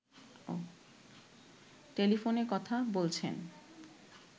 টেলিফোনে কথা বলছেন